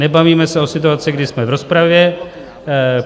Nebavíme se o situaci, kdy jsme v rozpravě.